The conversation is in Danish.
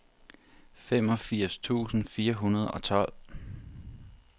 femogfirs tusind fire hundrede og tolv